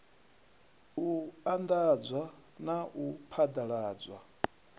u anḓadza na u phaḓaladzwa